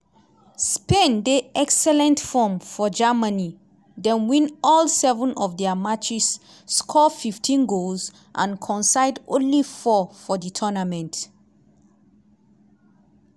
spain dey excellent form for germany dem win all seven of dia matches score 15 goals and concede only four for di tournament.